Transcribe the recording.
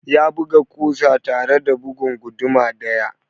Ya buga ƙusa tare da bugun guduma ɗaya.